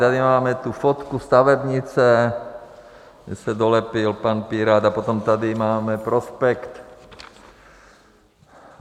Tady máme tu fotku stavebnice, kde se dolepil pan pirát, a potom tady máme prospekt.